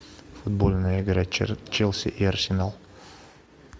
футбольная игра челси и арсенал